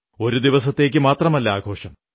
ഒരു ദിവസത്തേക്കു മാത്രമല്ല ആഘോഷം